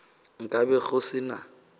nka be go se na